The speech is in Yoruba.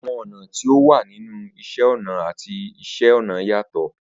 Awọn ọna ti o wa ninu Iṣẹ ọna ati Iṣẹ-ọnà yatọ